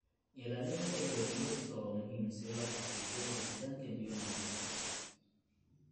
Ilaalinta ilo biyoodka waa muhiim si loo xaqiijiyo helitaanka biyo nadiif ah.